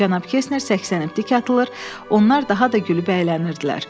Cənab Kestner 80 km tik atılır, onlar daha da gülüb əylənirdilər.